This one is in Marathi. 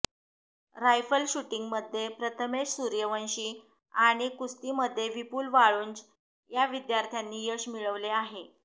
रायफल शुटिंगमध्ये प्रथमेश सुर्यवंशी आणि कुस्ती मध्ये विपुल वाळुंज या विद्यार्थ्यांनी यश मिळवले आहे